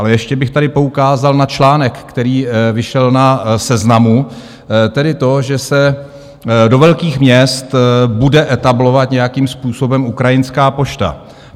Ale ještě bych tady poukázal na článek, který vyšel na Seznamu, tedy to, že se do velkých měst bude etablovat nějakým způsobem ukrajinská pošta.